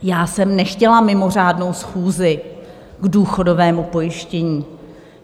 Já jsem nechtěla mimořádnou schůzi k důchodovému pojištění.